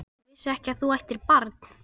Ég vissi ekki að þú ættir barn?